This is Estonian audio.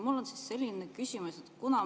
Mul on selline küsimus.